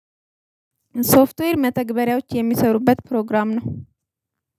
ሶፍትዌር መተግበሪያዎች የሚሰሩበት ፕሮግራም ነው።